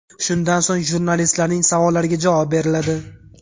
Shundan so‘ng, jurnalistlarning savollariga javob beriladi.